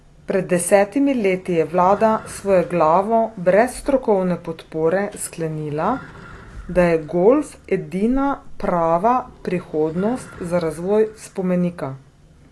Pred desetimi leti je vlada svojeglavo, brez strokovne podpore, sklenila, da je golf edina prava prihodnost za razvoj spomenika.